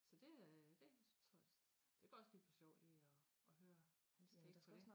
Så det øh dét synes jeg også det kan også lige være sjovt lige at at høre hans take på dét